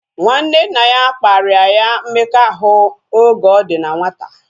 Nwanne nna ya kparia ya mmekọahụ oge ọ dị na nwata